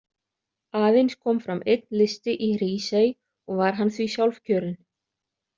Aðeins kom fram einn listi í Hrísey og var hann því sjálfkjörinn.